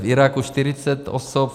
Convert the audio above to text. V Iráku 40 osob.